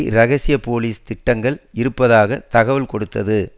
இரகசிய போலீஸ் திட்டங்கள் இருப்பதாக தகவல் கொடுத்தது